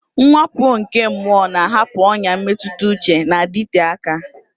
Mwakpo nke mmụọ na-ahapụ ọnyà mmetụta uche na-adịte aka.